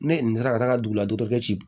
Ne nin sera ka taa dugu ladɔ kɛ ci